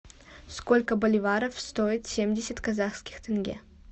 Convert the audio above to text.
сколько боливаров стоит семьдесят казахских тенге